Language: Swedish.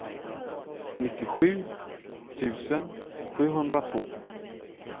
nittiosju tusen sjuhundratvå